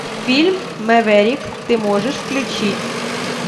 фильм мэверик ты можешь включить